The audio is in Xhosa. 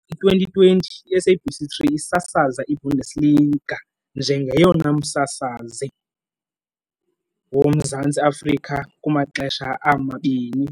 I-2020, iSabc 3 isasaza iBundesliga njengoyena msasazi woMzantsi Afrika kumaxesha amabini